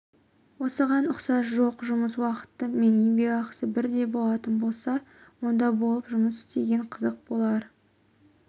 осыған ұқсас жоқ жұмыс уақыты мен еңбекақысы бірдей болатын болса онда болып жұмыс істеген қызықты болар